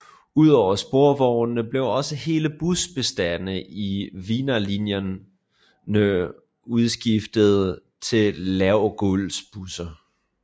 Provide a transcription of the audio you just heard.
Ud over sporvognene blev også hele busbestanden i Wienerlinjerne udskiftet til lavgulvsbusser